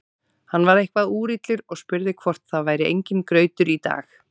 Hann var eitthvað úrillur og spurði hvort það væri enginn grautur í dag.